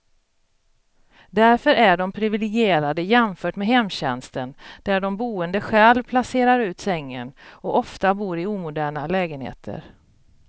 Därför är de priviligierade jämfört med hemtjänsten där de boende själv placerar ut sängen, och ofta bor i omoderna lägenheter.